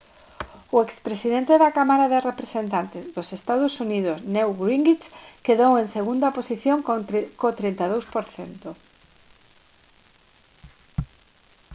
o expresidente da cámara de representantes dos ee. uu. newt gingrich quedou en segunda posición co 32 %